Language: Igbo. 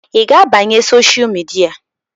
Ị ga-abanye sosha midia?